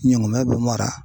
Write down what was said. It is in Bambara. Ɲɔngɔnmɛ bɛ mara.